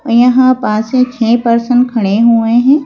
यहां पांच से छह पर्सन खड़े हुए हैं।